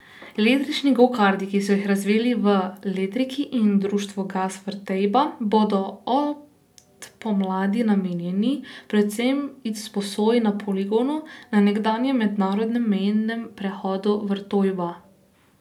Električni gokarti, ki so jih razvili v Letriki in društvu Gas Vrtejba, bodo od pomladi namenjeni predvsem izposoji na poligonu na nekdanjem mednarodnem mejnem prehodu Vrtojba.